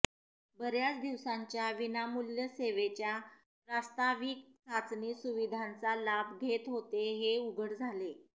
बर्याच दिवसांच्या विनामूल्य सेवेच्या प्रास्ताविक चाचणी सुविधांचा लाभ घेत होते हे उघड झाले